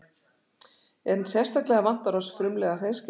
En sérstaklega vantar oss frumlega hreinskilni.